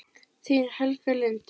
Þín, Helga Lind.